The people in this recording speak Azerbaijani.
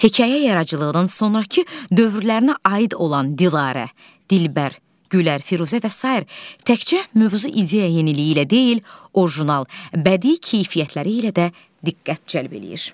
Hekayə yaradıcılığının sonrakı dövrlərinə aid olan Dilarə, Dilbər, Gülər, Firuzə və sair təkcə mövzu ideya yeniliyi ilə deyil, orijinal, bədii keyfiyyətləri ilə də diqqət cəlb eləyir.